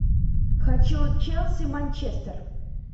хочу челси манчестер